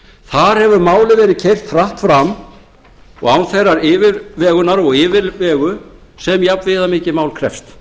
þar hefur málið verið keyrt hratt fram og án þeirrar yfirvegunar og yfirlegu sem jafn viðamikið mál krefst